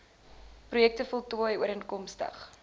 projekte voltooi ooreenkomstig